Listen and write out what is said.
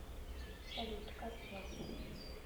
салют как я